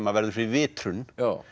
verður fyrir vitrun